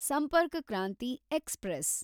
Sampark Kranti express